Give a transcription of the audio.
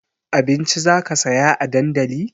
Abinci zaka saya a dandali?